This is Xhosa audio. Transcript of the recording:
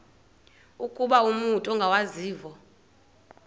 ukuba umut ongawazivo